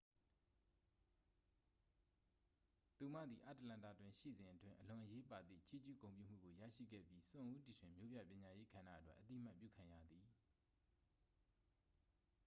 သူမသည် အတ္တလန္တာတွင်ရှိစဉ်အတွင်း အလွန်အရေးပါသည့် ချီးကျူးဂုဏ်ပြုမှုကို ရရှိခဲ့ပြီး စွန့်ဦးတီထွင် မြို့ပြပညာရေးကဏ္ဍအတွက် အသိအမှတ်ပြုခံခဲ့ရသည်